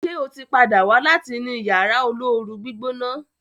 ṣe o tí pàdà wá láti ní Yàrá olóoru-gbígbóná.